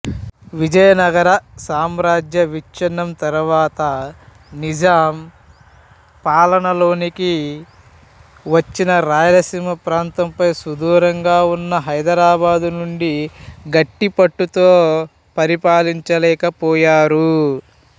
విజయనగర సామ్రాజ్య విఛ్ఛిన్నం తర్వాత నిజాం పాలనలోకి వచ్చిన రాయలసీమ ప్రాంతంపై సుదూరంగా ఉన్న హైదరాబాదు నుండి గట్టిపట్టుతో పరిపాలించలేకపోయారు